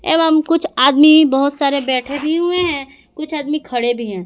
एवं कुछ आदमी बहोत सारे बैठे भी हुए हैं कुछ आदमी खड़े भी हैं।